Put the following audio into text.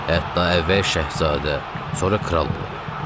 Hətta əvvəl şahzadə, sonra kral olub.